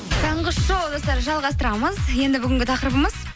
таңғы шоу достар жалғастырамыз енді бүгінгі тақырыбымыз